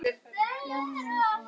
Ljáðu mér eyra.